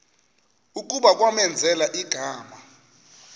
kuba kwamenzela igama